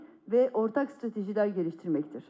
və ortaq stratejilər gəliştirməkdir.